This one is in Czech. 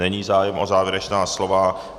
Není zájem o závěrečná slova.